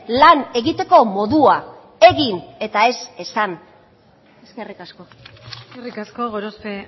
lan egiteko modua egin eta ez esan eskerrik asko eskerrik asko gorospe